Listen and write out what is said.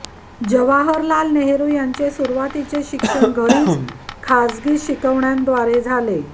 जवाहरलाल नेहरू यांचे सुरुवातीचे शिक्षण घरीच खासगी शिकवण्यांद्वारे झाले